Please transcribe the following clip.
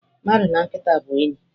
Mmadụ na nkịta bụ enyi.